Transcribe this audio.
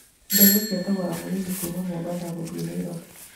Ndege cia thogora mũnini kuuma Mombasa gũthiĩ Nairobi